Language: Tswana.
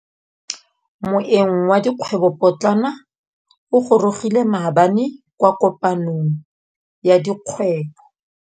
Moêng wa dikgwêbô pôtlana o gorogile maabane kwa kopanong ya dikgwêbô.